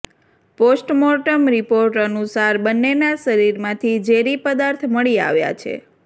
postmortem report અનુસાર બંનેના શરીરમાંથી ઝેરી પદાર્થ મળી આવ્યા છે